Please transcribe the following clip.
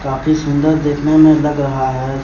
काफी सुंदर देखने में लग रहा है।